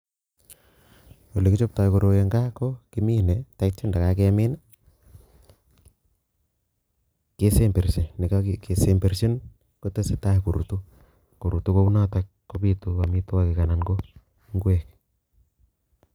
ole kichoptoi koroi en gaa ko kimine ak ye kakemin, kesemberchi, ak yekakesemberchi kotesetai korutu ko kounotok kobiitu amitwogiik anan ko ingwek